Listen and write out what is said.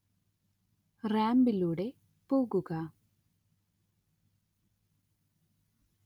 റാമ്പിലൂടെ പോകുക